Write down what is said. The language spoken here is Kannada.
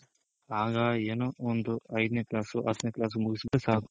ಆಗ ಏನು ಒಂದು ಐದನೇ class ಹತ್ತನೆ class ಮುಗುಸ್ ಬಿಟ್ರೆ ಸಾಕು